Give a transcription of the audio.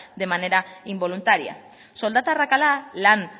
de manera involuntaria soldata arrakala lan